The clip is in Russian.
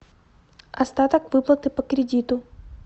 остаток выплаты по кредиту